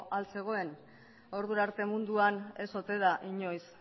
al zegoen ordurarte munduan ez ote da inoiz